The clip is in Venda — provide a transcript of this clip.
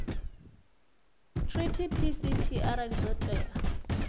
treaty pct arali zwo tea